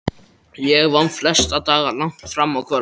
Ég vann flesta daga langt fram á kvöld.